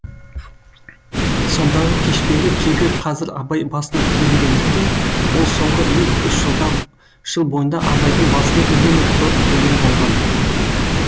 сондағы кешпес кегі қазір абай басына түйілгендіктен ол соңғы екі үш жыл бойында абайдың басына үнемі тор құрумен болған